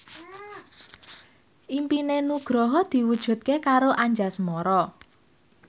impine Nugroho diwujudke karo Anjasmara